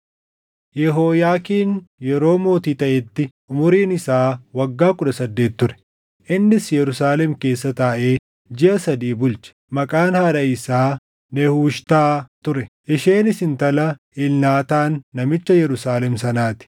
Yehooyaakiin yeroo mootii taʼetti umuriin isaa waggaa kudha saddeet ture; innis Yerusaalem keessa taaʼee jiʼa sadii bulche. Maqaan haadha isaa Nehushtaa ture; isheenis intala Elnaataan namicha Yerusaalem sanaa ti.